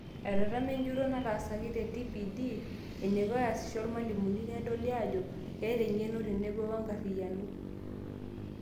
Etetema enjurro nataasaki te TPD eneiko easisho oormalimuni, nedoli ajo keeta eng'eno tenebo wenkariyano.